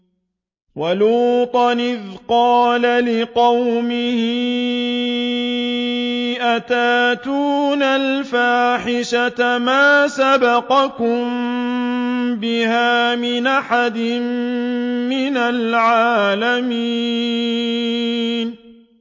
وَلُوطًا إِذْ قَالَ لِقَوْمِهِ أَتَأْتُونَ الْفَاحِشَةَ مَا سَبَقَكُم بِهَا مِنْ أَحَدٍ مِّنَ الْعَالَمِينَ